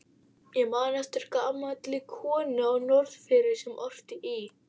Ég man eftir gamalli konu á Norðfirði sem orti í